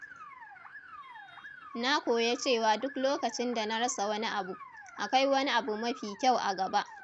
Na koya cewa duk lokacin da na rasa wani abu, akwai wani abu mafi kyau a gaba.